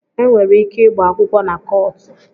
E nwere ike ịgba akwụkwọ na kọọtụ